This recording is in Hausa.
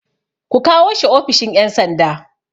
Ku kawo shi ofishin ƴan sanda